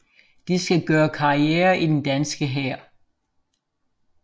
De skal gøre karriere i den danske hær